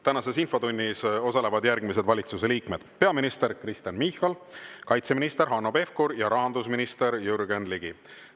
Tänases infotunnis osalevad järgmised valitsuse liikmed: peaminister Kristen Michal, kaitseminister Hanno Pevkur ja rahandusminister Jürgen Ligi.